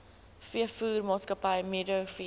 veevoermaatskappy meadow feeds